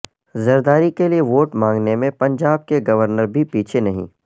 زرداری کے لیے ووٹ مانگنے میں پنجاب کے گورنر بھی پیچھے نہیں